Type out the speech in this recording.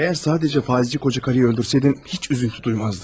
Əgər yalnız faizçi qocanı öldürsəydin, heç kədər duymazdım.